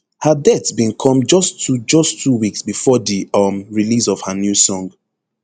her death bin come just two just two weeks bifor di um release of her new song